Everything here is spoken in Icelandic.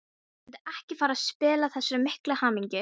Vildi ekki fara að spilla þessari miklu hamingju.